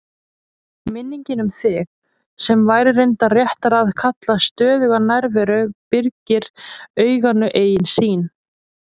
Minningin um þig, sem væri reyndar réttara að kalla stöðuga nærveru, byrgir auganu eigin sýn.